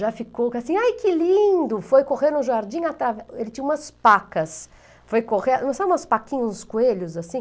Já ficou assim, ai que lindo, foi correr no jardim, atra, ele tinha umas pacas, sabe umas paquinhas, uns coelhos assim?